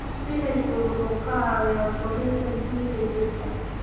Isbaanishku wuxuu ka caawiyaa kordhinta dhiigga jidhka.